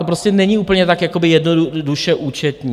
To prostě není tak úplně jednoduše účetní.